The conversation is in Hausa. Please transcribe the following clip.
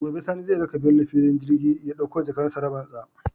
Gobe Sani zai raka Bello fillin saukar jirgi ya ɗakko jakar tsarabar shi